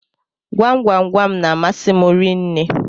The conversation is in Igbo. Gwam gwam gwam n'amasi m rinne